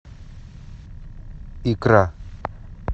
икра